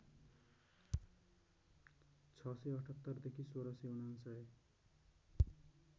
६७८ देखि १६९९